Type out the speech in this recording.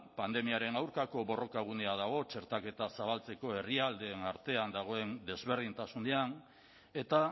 pandemiaren aurkako borrokagunea dago txertaketa zabaltzeko herrialdeen artean dagoen desberdintasunean eta